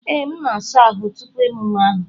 Ee, m na-asa ahụ́ tupu emume ahụ.